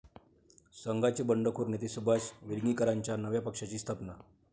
संघाचे बंडखोर नेते सुभाष वेलिंगकरांच्या नव्या पक्षाची स्थापना